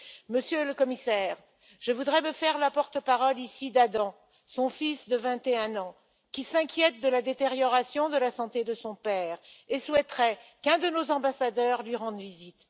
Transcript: Monsieur le Commissaire, je voudrais me faire la porte parole ici d'Adam, son fils de 21 ans, qui s'inquiète de la détérioration de la santé de son père et souhaiterait qu'un de nos ambassadeurs lui rende visite.